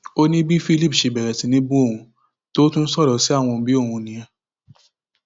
ó ní bí philip ṣe bẹrẹ sí í bú òun tó tún ń sọrọ sáwọn òbí òun nìyẹn